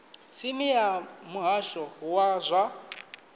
tsini ya muhasho wa zwa